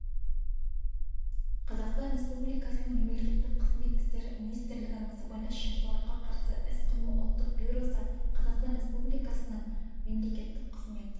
қазақстан республикасының мемлекеттік қызмет істері министрлігінің сыбайлас жемқорлыққа қарсы іс-қимыл ұлттық бюросы қазақстан республикасының мемлекеттік қызмет